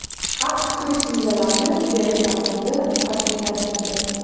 AQSh kirish vizalarini berish tartibini qat’iylashtirdi.